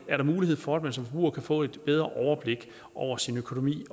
er der mulighed for at man som forbruger kan få et bedre overblik over sin økonomi